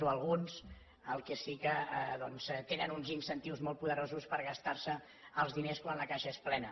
o alguns el que sí que doncs tenen uns incentius molt poderosos per gastar se els diners quan la caixa és plena